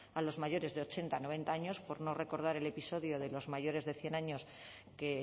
a los mayores de ochenta noventa años por no recordar el episodio de los mayores de cien años que